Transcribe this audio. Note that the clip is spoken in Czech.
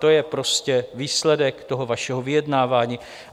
To je prostě výsledek toho vašeho vyjednávání.